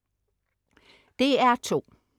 DR2: